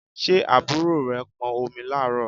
Ṣé àbúrò rẹ pọn omi láàárọ̀?